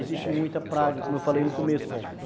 Existe muita praga, como eu falei no começo.